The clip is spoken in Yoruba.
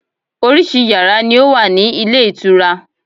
Orísìí yàrá ni ó wà ní ilé ìtura.